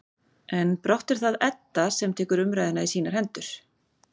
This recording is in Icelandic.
En brátt er það Edda sem tekur umræðuna í sínar hendur.